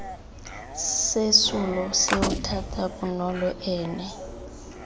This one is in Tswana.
sesolo seo thata bonolo ene